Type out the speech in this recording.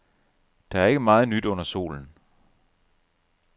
Der er ikke meget nyt under solen.